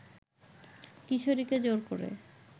কিশোরীকে জোর করে